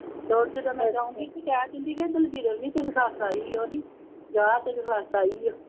ਤੋਰ ਜਦੋਂ ਮੈਂ ਜਾਊਗੀਂ ਕਿ ਕਹਿ ਦਿੰਦੀ ਹੈ ਦਲਬੀਰੋ ਨੀ ਤੈਨੂੰ ਸੱਸ ਆਈ ਉਹ ਨਹੀਂ, ਜਾ ਤੇਰੀ ਸੱਸ ਆਈ ਹੈ